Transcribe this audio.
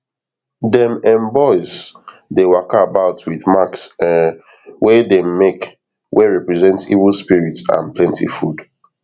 dem um boys dey waka about with mask um wey dem make wey represent evil spirit and plenty food